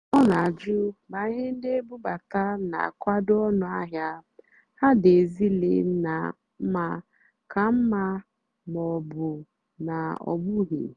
ọ́ nà-àjụ́ mà íhé ndí ébúbátá nà-ákùwádò ónú àhịá há dì ézílé nà mmá kà mmá mà ọ́ bụ́ ná ọ́ bụ́ghị́.